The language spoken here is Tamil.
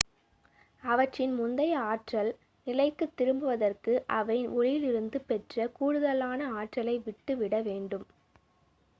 அவற்றின் முந்தைய ஆற்றல் நிலைக்குத் திரும்புவதற்கு அவை ஒளியிலிருந்து பெற்ற கூடுதலான ஆற்றலை விட்டுவிட வேண்டும்